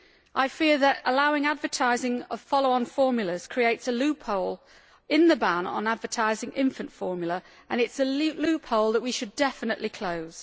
I fear that allowing advertising of follow on formulas creates a loophole in the ban on advertising infant formula and it is a loophole that we should definitely close.